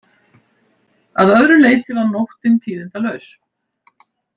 Að öðru leyti var nóttin tíðindalaus